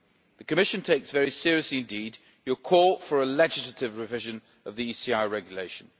it. The Commission takes very seriously indeed Parliament's call for a legislative revision of the ECI Regulation.